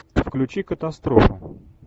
включи катастрофу